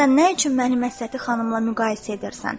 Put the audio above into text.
Sən nə üçün məni Məsləti xanımla müqayisə edirsən?